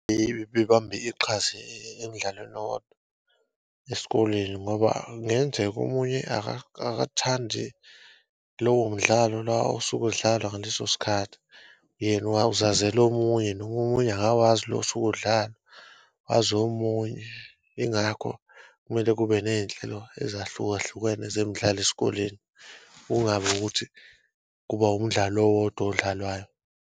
Bebambe iqhaza emdlalweni owodwa esikoleni ngoba kungenzeka omunye akathandi lowo mdlalo osuke udlalwa ngaleso sikhathi yena uzazela omunye nomunye akawazi lo osuke udlalwa wazi omunye. Ingakho kumele kube ney'nhlelo ezahlukahlukene zemidlalo esikoleni kungabi ukuthi kuba umdlalo owodwa odlalwayo.